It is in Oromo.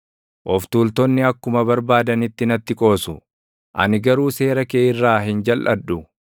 Of tuultonni akkuma barbaadanitti natti qoosu; ani garuu seera kee irraa hin jalʼadhu.